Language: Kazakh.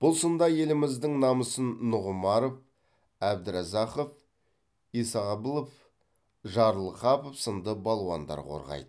бұл сында еліміздің намысын нұғымаров әбдіразақов исағабылов жарылғапов сынды балуандар қорғайды